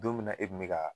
Don min na e kun bɛ ka